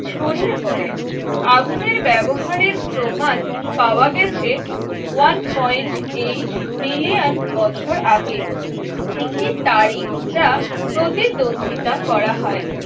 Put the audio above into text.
ছড়িয়ে পড়ে আগুনের ব্যবহারের প্রমাণ পাওয়া গেছে ওয়ান পয়েন্ট এইট মিলিয়ন বছর আগে, একটি তারিখ যা প্রতিদ্বন্দিতা করা হয়